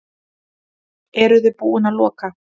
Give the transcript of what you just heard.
Eruði búin að loka?